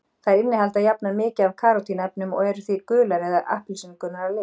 Þær innihalda jafnan mikið af karótín-efnum og eru því gular eða appelsínugular að lit.